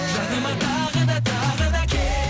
жаныма тағы да тағы да кел